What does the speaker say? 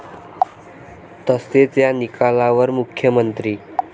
तसेच या निकालावर मुख्यमंत्री.